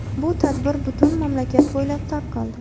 Bu tadbir butun mamlakat bo‘ylab tarqaldi.